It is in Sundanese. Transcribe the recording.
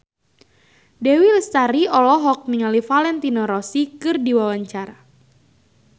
Dewi Lestari olohok ningali Valentino Rossi keur diwawancara